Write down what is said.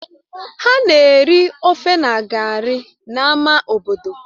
Ha na-eri ofe na gari n'ámá obodo